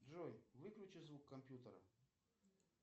джой выключи звук компьютера